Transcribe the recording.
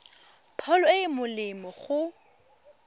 pholo e e molemo go